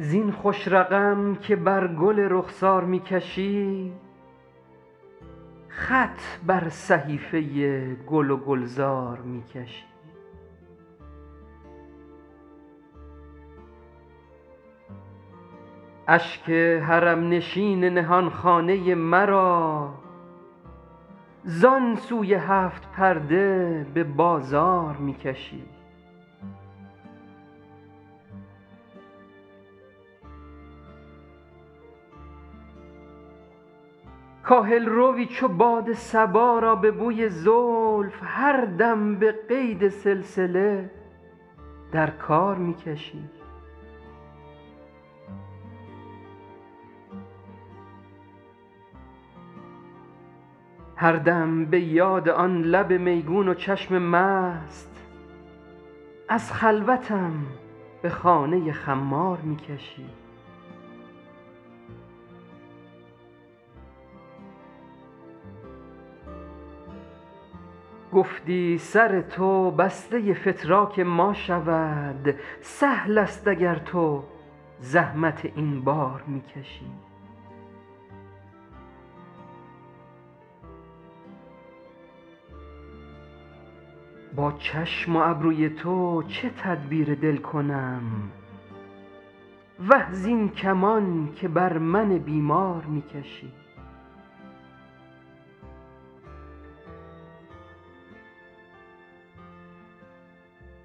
زین خوش رقم که بر گل رخسار می کشی خط بر صحیفه گل و گلزار می کشی اشک حرم نشین نهان خانه مرا زان سوی هفت پرده به بازار می کشی کاهل روی چو باد صبا را به بوی زلف هر دم به قید سلسله در کار می کشی هر دم به یاد آن لب میگون و چشم مست از خلوتم به خانه خمار می کشی گفتی سر تو بسته فتراک ما شود سهل است اگر تو زحمت این بار می کشی با چشم و ابروی تو چه تدبیر دل کنم وه زین کمان که بر من بیمار می کشی